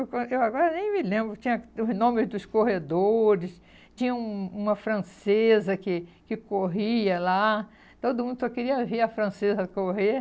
Eu agora nem me lembro, tinha os nomes dos corredores, tinha um uma francesa que que corria lá, todo mundo só queria ver a francesa correr.